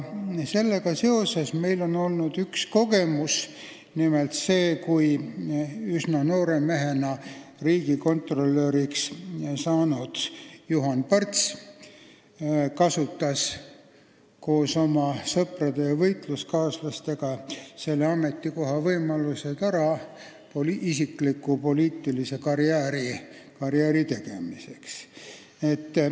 Sellega seoses meil on olnud üks huvitav kogemus: nimelt see, et üsna noore mehena riigikontrolöriks saanud Juhan Parts kasutas koos oma sõprade ja võitluskaaslastega selle ametikoha võimalused ära isikliku poliitilise karjääri tegemiseks.